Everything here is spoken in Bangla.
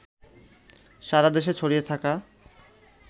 সারা দেশে ছড়িয়ে থাকা